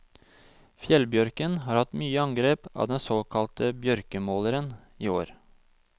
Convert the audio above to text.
Fjellbjørken har hatt mye angrep av den såkalte bjørkemåleren i år.